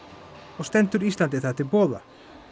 og stendur Íslandi það til boða